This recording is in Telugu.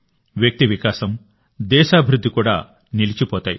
వ్యక్తి వికాసం దేశాభివృద్ధి కూడా నిలిచిపోతాయి